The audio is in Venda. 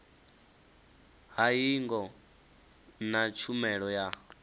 ha hingo na tshumelo ya